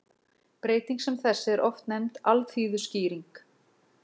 Breyting sem þessi er oft nefnd alþýðuskýring.